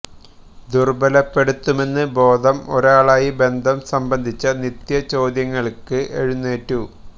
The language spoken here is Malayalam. ദുര്ബ്ബലപ്പെടുത്തുമെന്ന് ബോധം ഒരാളായി ബന്ധം സംബന്ധിച്ച നിത്യ ചോദ്യങ്ങൾക്ക് എഴുന്നേറ്റു